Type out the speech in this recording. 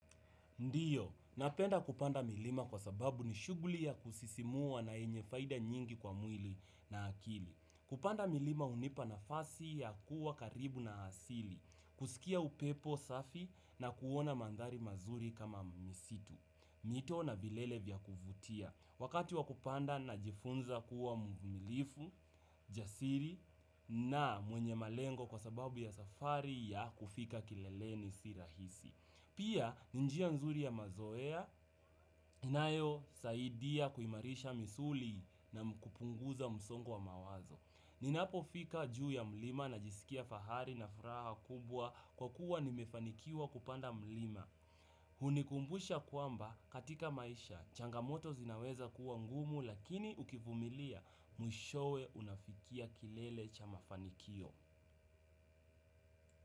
Ndio, napenda kupanda milima kwa sababu ni shuguli ya kusisimua na yenye faida nyingi kwa mwili na akili. Kupanda milima hunipa nafasi ya kuwa karibu na asili, kusikia upepo safi na kuona mandhari mazuri kama misitu. Mito na vilele vya kuvutia. Wakati wa kupanda najifunza kuwa mvumilifu, jasiri na mwenye malengo kwa sababu ya safari ya kufika kileleni si rahisi. Pia ni njia nzuri ya mazoea, inayosaidia kuimarisha misuli na kupunguza msongo wa mawazo. Ninapofika juu ya mlima najisikia fahari na furaha kubwa kwa kuwa nimefanikiwa kupanda mlima. Hunikumbusha kwamba katika maisha, changamoto zinaweza kuwa ngumu lakini ukivumilia mwishowe unafikia kilele cha mafanikio.